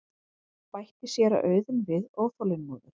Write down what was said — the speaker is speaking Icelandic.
bætti séra Auðunn við óþolinmóður.